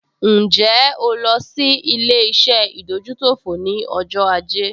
Ǹjẹ́ o lọ sí ilé-iṣẹ́ ìdójútòfò ní ọjọ́ ajé?